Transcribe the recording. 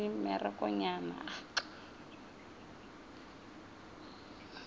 tšeo a makala eupša a